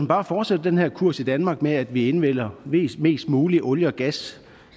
bare fortsætter den her kurs i danmark med at vi indvinder mest mest muligt olie og gas